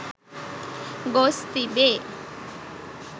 ගොස් තිබේ.